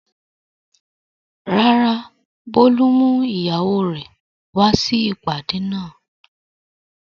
Rárá, Bólú mú ìyàwó rẹ̀ wá sí ìpàdé náà.